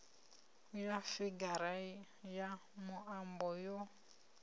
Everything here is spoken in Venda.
ya figara ya muambo yo